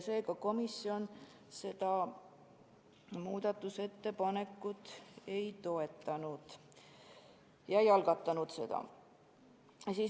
Seega komisjon seda muudatusettepanekut ei toetanud ja ei algatanud seda.